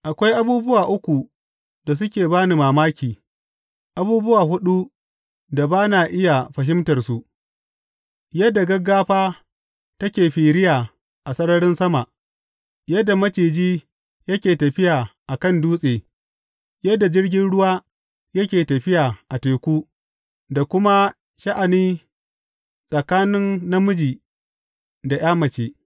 Akwai abubuwa uku da suke ba ni mamaki, abubuwa huɗu da ba na iya fahimtarsu, yadda gaggafa take firiya a sararin sama, yadda maciji yake tafiya a kan dutse, yadda jirgin ruwa yake tafiya a teku, da kuma sha’ani tsakanin namiji da ’ya mace.